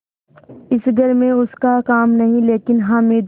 इस घर में उसका काम नहीं लेकिन हामिद